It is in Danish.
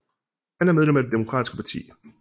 Han er medlem af det Demokratiske parti